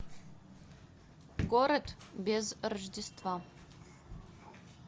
город без рождества